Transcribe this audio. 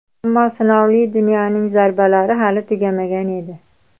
Ammo sinovli dunyoning zarbalari hali tugamagan edi.